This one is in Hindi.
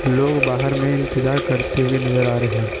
लोग बाहर में इंतजार करते हुए नजर आ रहे हैं।